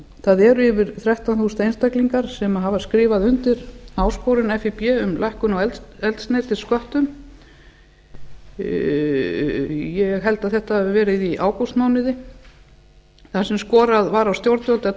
það eru yfir þrettán þúsund einstaklingar sem hafa skrifað undir áskorun fíb fimm lækkun á eldsneytissköttum ég held að þetta hafi verið í ágústmánuði þar sem skorað var á stjórnvöld að